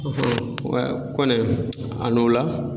U ɛ Kɔnɛ a n'o la.